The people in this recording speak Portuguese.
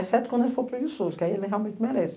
Exceto quando ele for preguiçoso, que aí ele realmente merece.